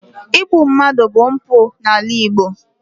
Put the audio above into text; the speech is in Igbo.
Igbu mmadụ bụ mpụ n’ala Igbo.